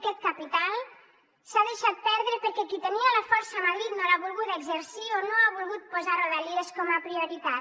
aquest capital s’ha deixat perdre perquè qui tenia la força a madrid no l’ha volguda exercir o no ha volgut posar rodalies com a prioritat